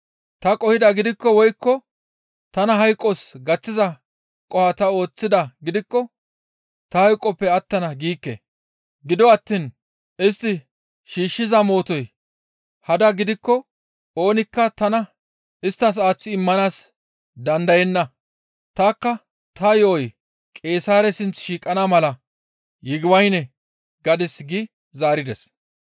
Ta qohidaa gidikko woykko tana hayqos gaththiza qoho ta ooththidaa gidikko ta hayqoppe attana giikke; gido attiin istti shiishshiza mootoy hada gidikko oonikka tana isttas aaththi immanaas dandayenna; tanikka ta yo7oy Qeesaare sinth shiiqana mala, ‹Yigibayne› gadis» gi zaarides.